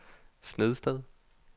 Snedsted